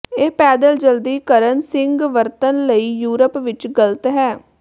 ਇਹ ਪੈਦਲ ਜਲਦੀ ਕਰਨ ਸਿੰਗ ਵਰਤਣ ਲਈ ਯੂਰਪ ਵਿਚ ਗ਼ਲਤ ਹੈ